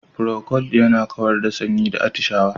Procold yana kawar da sanyi da atishawa.